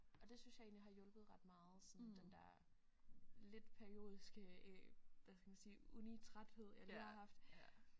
Og det synes jeg egentlig har hjulpet ret meget sådan den der lidt periodiske hvad skal man sige uni træthed jeg lige har haft